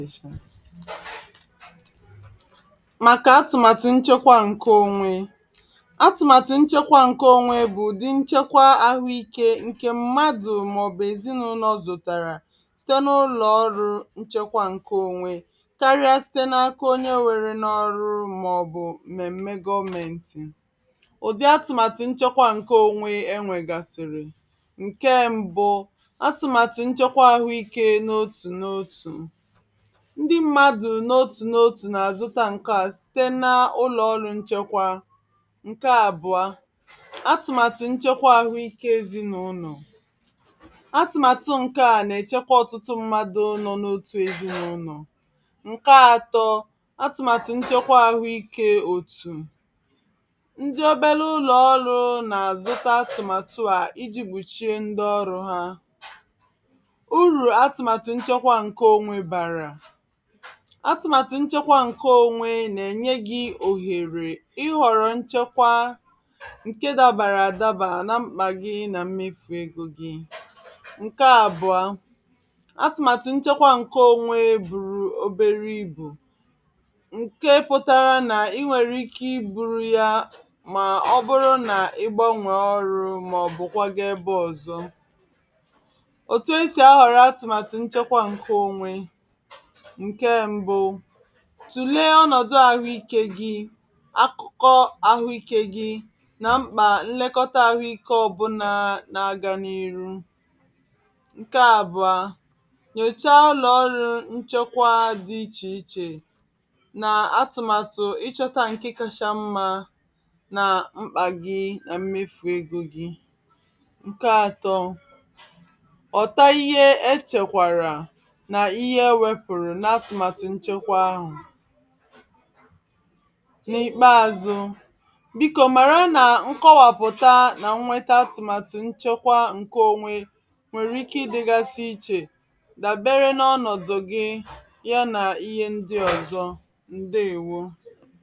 màkà atụ̀màtụ̀ nchekwa ǹke onwe atụ̀màtụ̀ nchekwa ǹke onwe bụ ụ̀dị nchekwa ahụike ǹke mmadụ màọ̀bụ ezinụ́lọ zòtàrà site n’ụlọ ọrụ nchekwa ǹke onwe káríà site n’aka onye nwere n’ọrụ màọ̀bụ mmèmme gọmèntì ụ̀dị atụ̀màtụ̀ nchekwa ǹke onwe enwegàsịrị nke mbụ atụ̀màtụ̀ nchekwa ahụike n’ọtụ n’ọtụ ndị mmadụ n’otù n’otù na-azụtà ǹke à site n’ụlọ ọrụ nchekwa nke àbụ̀ọ atụ̀màtụ̀ nchekwa ahụike ezinàụlọ atụ̀màtụ ǹke à na-echekwa ọtụtụ mmadụ nọọ n’otù ezinàụlọ nke àtọ atụ̀màtụ̀ nchekwa ahụike òtù ndị obele ụlọ ọrụ na-azụtà atụ̀màtụ à iji gbùchie ndị ọrụ ha urù atụ̀màtụ̀ nchekwa ǹke onwe bàrà atụ̀màtụ̀ nchekwa ǹke onwe na-enye gị òhèrè ịhọ̀rọ̀ nchekwa nke dabàrị àdaba na mkpà gị na mmefu ego gị nke àbụ̀ọ atụ̀màtụ̀ nchekwa ǹke onwe bùrù obere ibu nke pụtara na i nwere ike ibù ya mà ọ bụrụ na ị gbanwe ọrụ màọ̀bụ kwàgà ebe ọzọ òtù e si ahọ̀rọ̀ atụ̀màtụ̀ nchekwa ǹke onwe nke mbụ tùlee ọnọ̀dụ̀ ahụike gị akụkọ ahụike gị na mkpà nlekọta ahụike ọbụna na-aga n’ihu nke àbụ̀ọ nyochà ụlọ ọrụ nchekwa dị iche-iche na atụ̀màtụ ịchọta nke kacha mma na mkpà gị na mmefu ego gị nke atọ ọ̀hụta ihe echekwara na ihe ewepụrụ n’atụ̀màtụ̀ nchekwa ahụ n’ikpeazụ biko màra na nkọwàpụ̀tà na nweta atụ̀màtụ̀ nchekwa ǹke onwe nwere ike ịdègasị iche dábere n’ọnọ̀dụ̀ gị ya na ihe ndị ọzọ ndeewo.